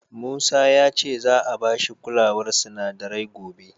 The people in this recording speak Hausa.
Musa ya ce za'a ba shi kulawar sinadarai gobe.